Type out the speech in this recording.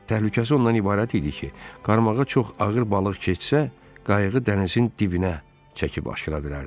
"Təhlükəlisi ondan ibarət idi ki, qarmağa çox ağır balıq keçsə, qayığı dənizin dibinə çəkib aşıra bilərdi."